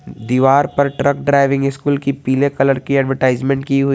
दीवार पर truck driving school की पीले कलर की एडवर्टाइजमेंट की हुई।